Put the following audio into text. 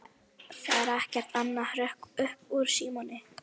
Það er ekkert annað hrökk upp úr Símoni.